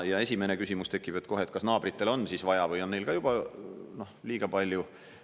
Ja esimene küsimus tekib kohe, kas naabritel on siis vaja, või on neil ka juba liiga palju.